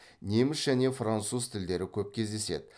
неміс және француз тілдері көп кездеседі